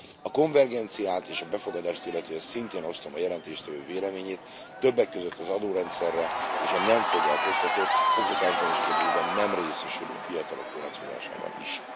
A konvergenciát és a befogadást illetően szintén osztom a jelentéstevő véleményét, többek között az adórendszer és a nem foglalkoztatott, oktatásban és képzésben nem részesülő fiatalok vonatkozásában is.